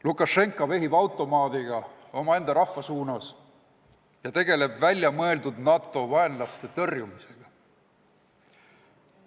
Lukašenka vehib automaadiga omaenda rahva suunas ja tegeleb väljamõeldud vaenlase, NATO tõrjumisega.